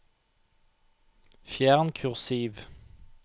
Fjern kursiv